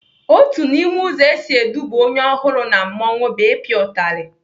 Otu n'ime ụzọ esi eduba onye ọhụrụ na mmanwụ bụ ịpịa utali.